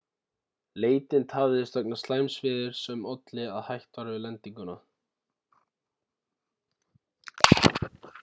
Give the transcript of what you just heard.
leitin tafðist vegna slæms veðurs sem olli að hætt var við lendingu